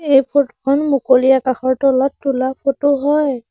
এই ফটো খন মুকলি আকাশৰ তলত তোলা ফটো হয়।